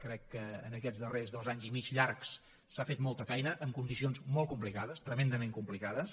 crec que en aquests darrers dos anys i mig llargs s’ha fet molta feina en condicions molt complicades tremendament complicades